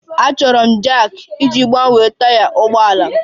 Achọrọ m Jack iji gbanwee taya ụgbọ ala m